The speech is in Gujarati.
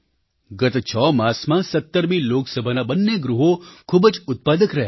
ગત છ માસમાં 17મી લોકસભાના બંને ગૃહો ખૂબ જ ઉત્પાદક રહ્યાં છે